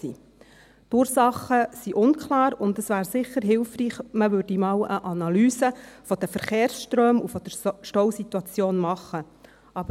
Die Ursachen sind unklar, und es wäre sicher hilfreich, wenn man einmal eine Analyse der Verkehrsströme und der Stausituation machen würde.